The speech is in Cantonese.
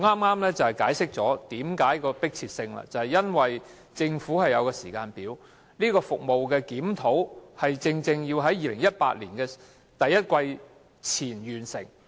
我剛才解釋了會議何故迫切，就是因為按政府的時間表，相關服務的檢討須於2018年第一季前完成。